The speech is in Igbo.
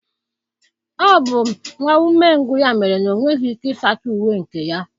Ọ bụ nwa umengwụ ya mere na ọ nweghị ike ịsacha uwe nke ya